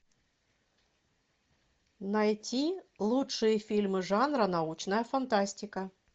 найти лучшие фильмы жанра научная фантастика